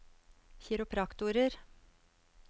kiropraktorer